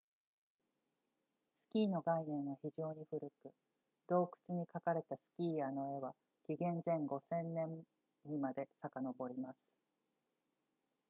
スキーの概念は非常に古く洞窟に描かれたスキーヤーの絵は紀元前5000年にまでさかのぼります